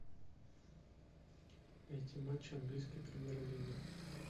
найти матч английской премьер лиги